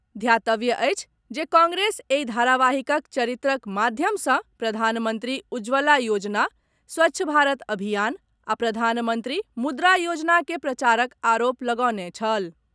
ध्यातव्य अछि जे कांग्रेस एहि धारावाहिकक चरित्रक माध्यम सॅ प्रधानमंत्री उज्जवला योजना, स्वच्छ भारत अभियान आ प्रधानमंत्री मुद्रा योजना के प्रचारक आरोप लगौने छल।